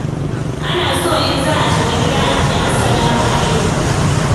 Ana so in za'a shiga gida ace ' Assalamu alaikum'.